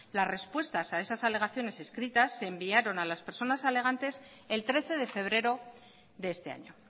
las respuestas a esas alegaciones escritas se enviaron a las personas alegantes el trece de febrero de este año